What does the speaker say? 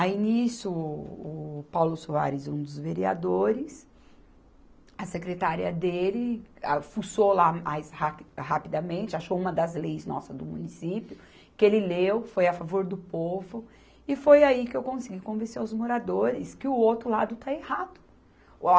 Aí, nisso, o, o Paulo Soares, um dos vereadores, a secretária dele, a fuçou lá mais rapi rapidamente, achou uma das leis nossa do município, que ele leu, foi a favor do povo, e foi aí que eu consegui convencer os moradores que o outro lado está errado.